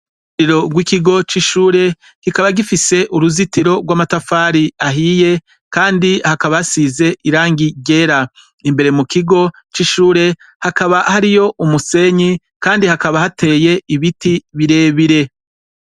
Muriro rw'ikigo c'ishure kikaba gifise uruzitiro rw'amatafari ahiye, kandi hakaba hasize irangi ryera imbere mu kigo c'ishure hakaba hariyo umusenyi, kandi hakaba hateye ibiti birebire.